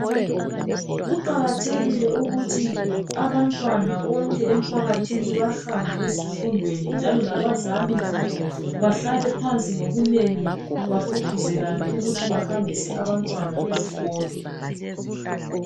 Kuqakathekile ukuthi abantwana bonke emphakathini bahambe ezifundweni njalo labazali bahlale phansi ngobunengi bagqugquzelane ukuthi bahambise abantwana ezikolo